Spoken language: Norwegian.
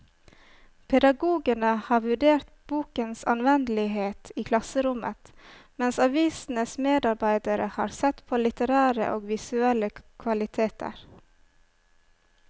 Pedagogene har vurdert bokens anvendelighet i klasserommet, mens avisens medarbeidere har sett på litterære og visuelle kvaliteter.